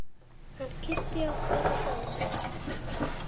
Hann Kiddi okkar er dáinn.